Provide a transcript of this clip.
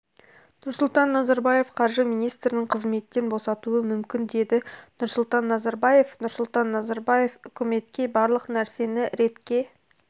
нұрсұлтан назарбаев қаржы министрін қызметтен босатуы мүмкін деді нұрсұлтан назарбаев нұрсұлтан назарбаев үкіметке барлық нәрсені ретке